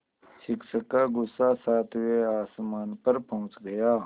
शिक्षक का गुस्सा सातवें आसमान पर पहुँच गया